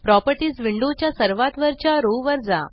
properties window च्या सर्वात वरच्या रो वर जा